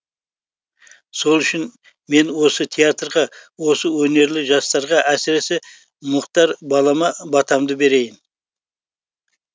сол үшін мен осы театрға осы өнерлі жастарға әсіресе мұхтар балама батамды берейін